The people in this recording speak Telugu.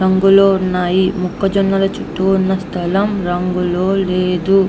రంగులు ఉన్నాయి మొక్కజొన్నలు చుట్టూ ఉన్న స్థలం రంగుల లేదు.